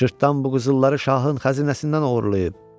"Cırtdan bu qızılları şahın xəzinəsindən oğurlayıb."